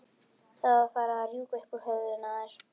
Það var farið að rjúka upp úr höfðinu á þér.